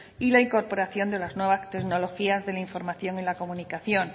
y la incorporación de las nuevas tecnologías de la información en la comunicación